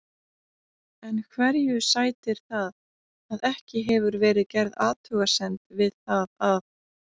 En hverju sætir það að ekki hefur verið gerð athugasemd við það að